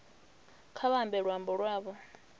kha vha ambe luambo lwavho